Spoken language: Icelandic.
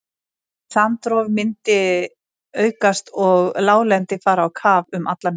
Strandrof myndi aukast og láglendi fara á kaf um allan heim.